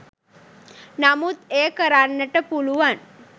නමුත් එය කරන්නට පුළුවන්